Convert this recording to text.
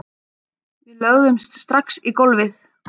Við lögðumst strax í gólfið